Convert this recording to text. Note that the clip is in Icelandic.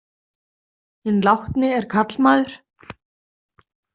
Hinn látni er karlmaður?